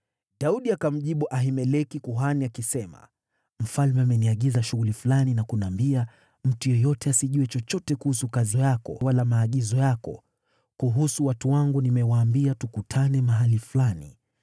Daudi akamjibu Ahimeleki kuhani, akisema, “Mfalme ameniagiza shughuli fulani na kuniambia, ‘Mtu yeyote asijue chochote kuhusu kazi yako wala maagizo yako!’ Kuhusu watu wangu, nimewaambia tukutane mahali fulani.